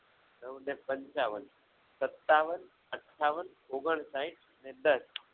નવને પંચાવન સત્તાવન ઓગનસાહિથ અને દસ